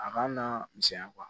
A ka na misɛnya